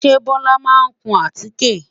Ṣe Bọ́lá máa kun àtíké?